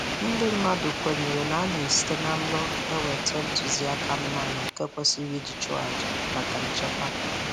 Ndị mmadụ kwenyere na a na-esite na nrọ enweta ntụziaka anụmanụ nke kwesịrị iji chụọ aja maka nchekwa.